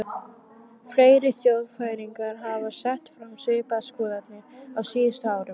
Fleiri þjóðfræðingar hafa sett fram svipaðar skoðanir á síðustu árum.